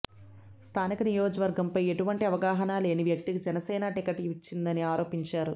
స్థానిక నియోజకవర్గంపై ఎటువంటి అవగాహన లేని వ్యక్తికి జనసేన టికెట్ ఇచ్చిందని ఆరోపించారు